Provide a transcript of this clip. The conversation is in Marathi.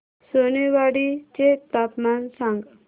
सोनेवाडी चे तापमान सांग